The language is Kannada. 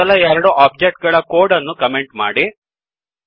ಮೊದಲ ಎರಡು ಒಬ್ಜೆಕ್ಟ್ ಗಳ ಕೋಡ್ ಅನ್ನೂ ಕಮೆಂಟ್ ಮಾಡಿ